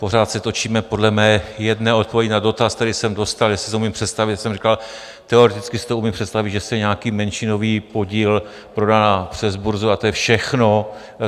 Pořád se točíme podle mé jedné odpovědi na dotaz, který jsem dostal, jestli si umím představit - jsem říkal, teoreticky si to umím představit - že se nějaký menšinový podíl prodá přes burzu, a to je všechno.